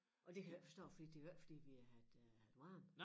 Og det kan jeg ikke forstå fordi det jo ikke fordi det har været øh varmt